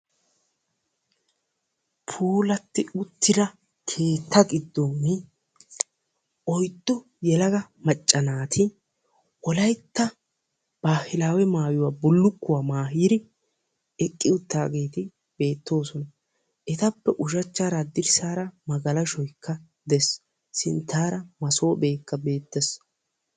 puulatti uttidia keetta gidoni oyddu yelaga wolaytta bulukkuwa maayi utaageeti beetoosona. etappe ushachaara hadirsaara magalashoykka beetees. sintaara masoopeekka beetees.